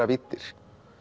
víddir